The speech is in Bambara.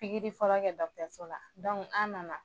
Bikiri fɔlɔ kɛ dɔgɔtɔrɲɔso laa an nana